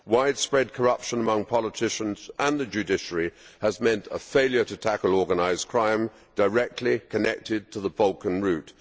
Widespread corruption among politicians and the judiciary has meant a failure to tackle organised crime directly connected to the Balkan route.